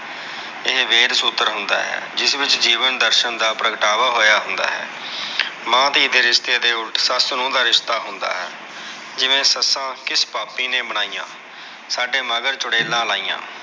ਇਹ ਵੇਦ ਸੂਤਰ ਹੁੰਦਾ ਹੈ। ਜਿਸ ਵਿੱਚ ਜੀਵਨ ਦਰਸ਼ਨ ਦਾ ਪ੍ਰਗਟਾਵਾ ਹੋਇਆ ਹੁੰਦਾ ਹੈ। ਮਾਂ, ਧੀ ਦੇ ਰਿਸ਼ਤੇ ਦੇ ਉਲਟ, ਸੱਸ, ਨੂੰਹ ਦਾ ਰਿਸ਼ਤਾ ਹੁੰਦਾ ਹੈ। ਜਿਵੇ, ਸੱਸਾ ਕਿਸ ਪਾਪੀ ਨਾ ਬਣਾਈਆਂ, ਸਾਡੇ ਮਗਰ ਚੁੜੇਲਾਂ ਲਾਈਆਂ।